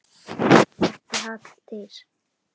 Ekki Halldís